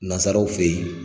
Nansaraw fe ye